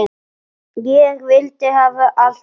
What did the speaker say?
Ég vildi hafa allt rétt.